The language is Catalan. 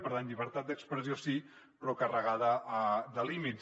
per tant llibertat d’expressió sí però carregada de límits